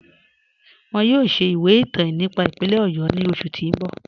Wọn yọ̀ọ̀ ṣẹ̀ ìwẹ̀ ìtàn nípà ìpínlẹ̀ Ọ̀yọ́ ni oṣù ti n bọ̀.